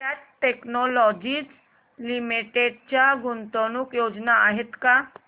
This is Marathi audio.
कॅट टेक्नोलॉजीज लिमिटेड च्या गुंतवणूक योजना आहेत का